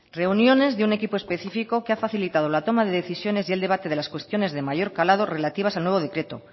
reuniones de un equipo específico que ha facilitado la toma de decisiones y el debate de las cuestiones de mayor calado relativas al nuevo decreto